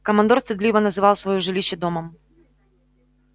командор стыдливо называл своё жилище домом